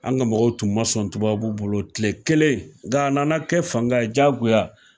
An ka mɔgɔw tun ma sɔn tubabuw bolo tile kelen, nga nana kɛ fanga ye diyagoya.